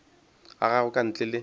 ga gagwe ka ntle le